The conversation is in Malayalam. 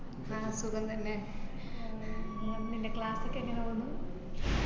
ആ സുഖം തന്നെ ഉം നിന്‍റെ class ഒക്കെ എങ്ങനെ പോകുന്നു?